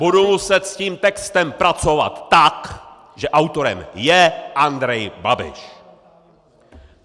Budu muset s tím textem pracovat tak, že autorem je Andrej Babiš!!!